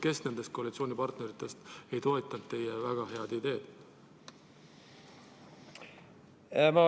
Kes nendest koalitsioonipartneritest ei toetanud teie väga head ideed?